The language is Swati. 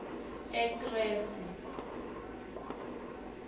ekresi